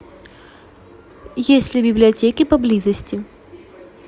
есть ли библиотеки поблизости